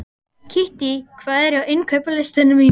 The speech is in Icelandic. Kittý, hvað er á innkaupalistanum mínum?